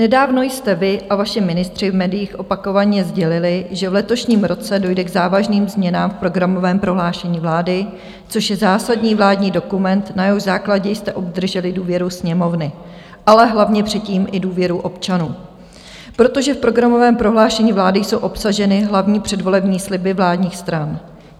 Nedávno jste vy a vaši ministři v médiích opakovaně sdělili, že v letošním roce dojde k závažným změnám v programovém prohlášení vlády, což je zásadní vládní dokument, na jehož základě jste obdrželi důvěru Sněmovny, ale hlavně předtím i důvěru občanů, protože v programovém prohlášení vlády jsou obsaženy hlavní předvolební sliby vládních stran.